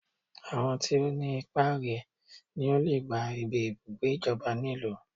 Àwọn tí ọ ní ipá rè ní ọ lè gbá ibí ibùgbé ìjọba ní ìlú